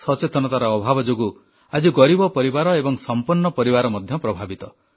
ସଚେତନତାର ଅଭାବ ଯୋଗୁଁ ଆଜି ଗରିବ ପରିବାର ଏବଂ ସଂପନ୍ନ ପରିବାର ମଧ୍ୟ ପ୍ରଭାବିତ